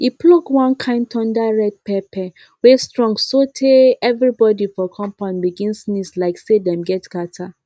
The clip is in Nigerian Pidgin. e pluck one kain thunder red pepper wey strong sotay everybody for compound begin sneeze like say dem get catarrh